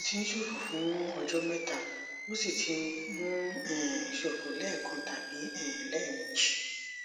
ó ti ń ṣòfò fún ọjọ mẹta ó sì ti ń um ṣòfò lẹẹkan tàbí um lẹẹmejì